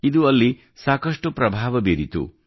ಇದು ಅಲ್ಲಿ ಸಾಕಷ್ಟು ಪ್ರಭಾವ ಬೀರಿತು